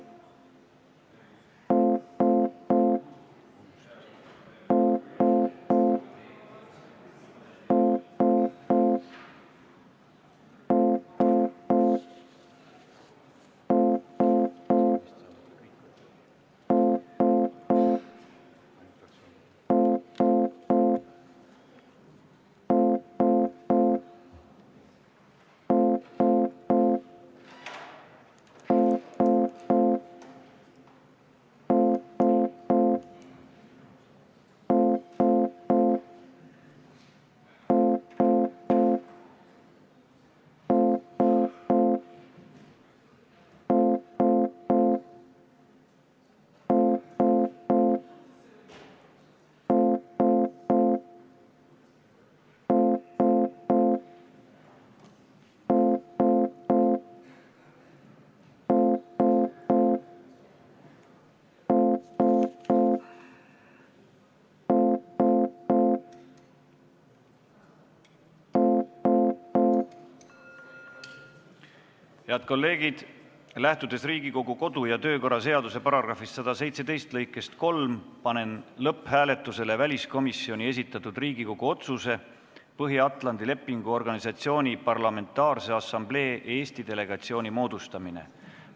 Head kolleegid, lähtudes Riigikogu kodu- ja töökorra seaduse § 117 lõikest 3, panen lõpphääletusele väliskomisjoni esitatud Riigikogu otsuse "Põhja-Atlandi Lepingu Organisatsiooni Parlamentaarse Assamblee Eesti delegatsiooni moodustamine" eelnõu.